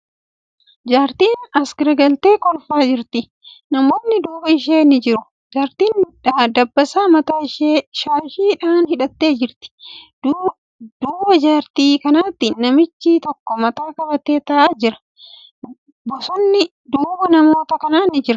Jaartin as garagaltee kolfaa jirti. Namootni duuba ishee ni jiru. Jaartin dabbasaa mataa ishee shaashii dhan hidhattee jirti. Duuba jaartii kanaatti namichi tokko mataa qabatee taa'aa jira. Bosonni duuba namoota kanaa ni jira.